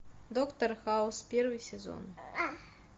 доктор хаус первый сезон